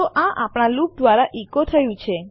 તો આ આપણા લૂપ દ્વારા ઇકો થયું છે